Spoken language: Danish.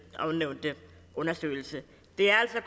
ovennævnte undersøgelse det er altså